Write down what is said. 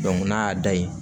n'a y'a da yen